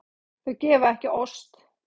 Þau gefa ekki ost.